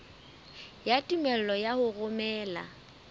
ya tumello ya ho romela